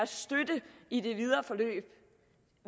støtte i det videre forløb